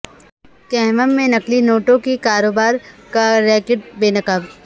کھمم میں نقلی نوٹوں کے کاروبار کا ریاکٹ بے نقاب